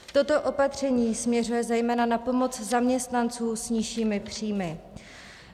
Toto opatření směřuje zejména na pomoc zaměstnancům s nižšími příjmy.